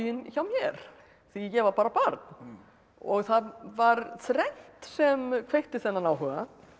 hjá mér því ég var bara barn og það var þrennt sem kveikti þennan áhuga